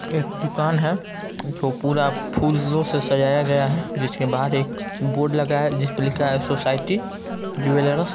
एक दुकान है जो पूरा फूलो से सजाया गया है जिसके बाहर एक बोर्ड लगा है जिसपे लिखा है सोसाइटी ज्वेलेरस ---